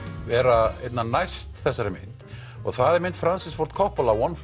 vera einna næst þessari mynd og það er mynd Francis Ford Coppola one